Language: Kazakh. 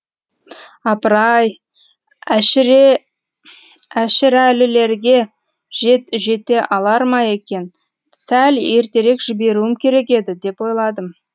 апыр ай әшірәлілерге жете алар ма екен сәл ертерек жіберуім керек еді деп ойладым